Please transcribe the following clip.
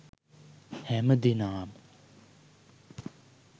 හැමදෙනාම